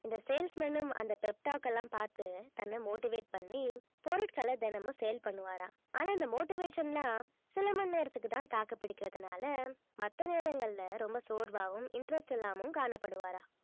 இந்த salesman ம் அந்த pep talk எல்லாம் பார்த்து தன்னை motivate பண்ணி பொருட்களை தினமும் sale பண்ணுவாராம் ஆனா இந்த motivation லாம் சில மணி நேரத்துக்கு தான் தாக்குப்பிடிக்கிறதுனால மத்த நேரங்கள்ல ரொம்ப சோர்வாகவும் interest இல்லாமலும் காணப்படுவாராம்